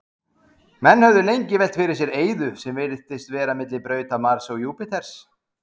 Menn höfðu lengi velt fyrir sér eyðu sem virtist vera milli brauta Mars og Júpíters.